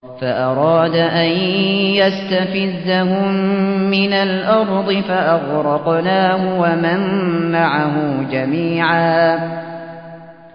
فَأَرَادَ أَن يَسْتَفِزَّهُم مِّنَ الْأَرْضِ فَأَغْرَقْنَاهُ وَمَن مَّعَهُ جَمِيعًا